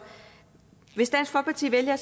hvis dansk folkeparti vælger